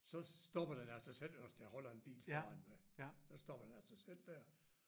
Så stopper den af sig selv hvis der holder en bil foran ved så stopper den af sig selv der